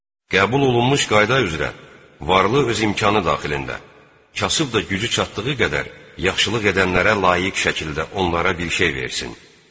Qəbul olunmuş qayda üzrə varlı öz imkanı daxilində, kasıb da gücü çatdığı qədər yaxşılıq edənlərə layiq şəkildə onlara bir şey versin.